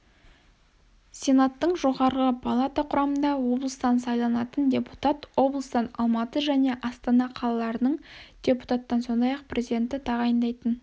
сенаттың жоғарғы палата құрамында облыстан сайланатын депутат облыстан алматы жне астана қалаларынан депутаттан сондай-ақ президенті тағайындайтын